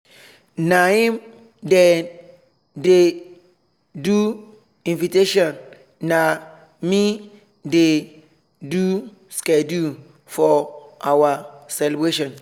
naim dey do dey do invitation na me dey do schedule for our celebration